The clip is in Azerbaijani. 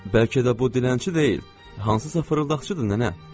Bəlkə də bu dilənçi deyil, hansısa fırıldaqçıdır nənə.